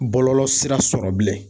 Bɔlɔlɔ sira sɔrɔ bilen